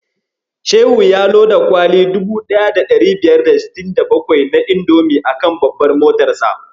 Shehu ya loda kwali 1567 na indomi a kan babbar motarsa.